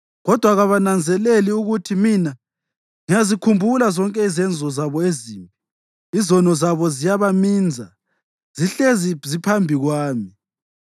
kodwa kabananzeleli ukuthi mina ngiyazikhumbula zonke izenzo zabo ezimbi. Izono zabo ziyabaminza; zihlezi ziphambi kwami.